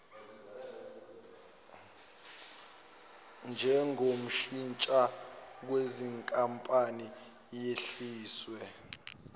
njengoshintshwa kwezinkampani yehliswe